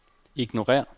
ignorér